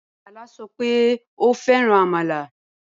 Bala sọ pé òun fẹ́ràn amala